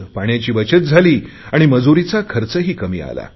पाण्याची बचत झाली आणि मजूरीचा खर्चही कमी आला